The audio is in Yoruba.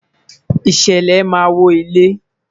ìṣẹlẹ ma wo ile